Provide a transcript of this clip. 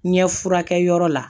Ɲɛ furakɛyɔrɔ la